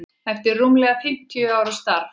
eftir rúmlega fimm ára starf.